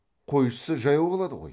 қойшысы жаяу қалады ғой